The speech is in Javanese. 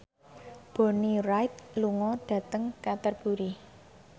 Bonnie Wright lunga dhateng Canterbury